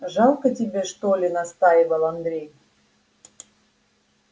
жалко тебе что ли настаивал андрей